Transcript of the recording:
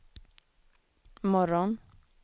morgon